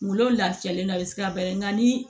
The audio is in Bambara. Kungolo lafiyalen na a bɛ se ka bɛrɛ nga ni